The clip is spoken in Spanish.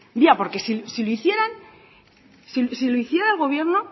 porque ya si lo hicieran si lo hiciera el gobierno